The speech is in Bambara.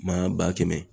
Ma ba kɛmɛ